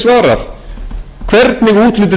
það er skortur á gagnsæi